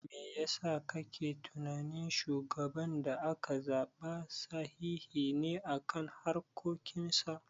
Me yasa kake tunani shugaban da aka zaɓa sahihi ne a harkokin sa?